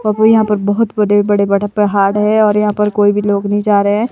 और यहां पर बहुत बड़े बड़े बड़ा पहाड़ है और यहां पर कोई भी लोग नहीं जा रहे हैं।